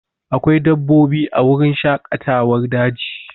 Akwai dabbobi a wurin shaƙatawar daji